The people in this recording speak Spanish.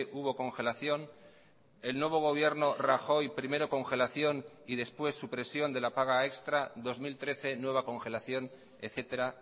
hubo congelación el nuevo gobierno rajoy primero congelación y después supresión de la paga extra dos mil trece nueva congelación etcétera